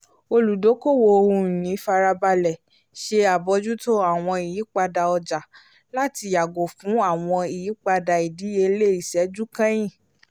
oludokoowo ohun-ìní farabalẹ̀ ṣe abojuto àwọn ìyípadà ọjà láti yàgò fún àwọn ìyípadà ìdíyelé iṣẹ́jú kẹyín